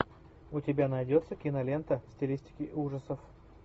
у тебя найдется кинолента в стилистике ужасов